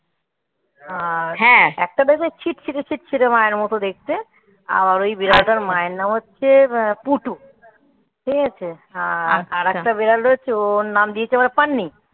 আহ হ্যাঁ একটা দেখবে ছিট ছিট ছিটছে মায়ের মতো দেখতে. আমার ওই বিড়ালটার মায়ের নাম হচ্ছে আহ পুটু. ঠিক আছে? আর আর একটা বিড়াল রয়েছে. ওর নাম দিয়েছে ওরা পান্নি